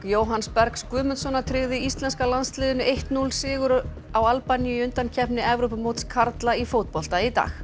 Jóhanns Bergs Guðmundssonar tryggði íslenska landsliðinu eitt til núll sigur á Albaníu í undankeppni Evrópumóts karla í fótbolta í dag